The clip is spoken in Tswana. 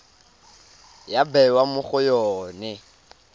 ya bewa mo go yone